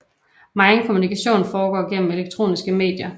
Megen kommunikation foregår gennem elektroniske medier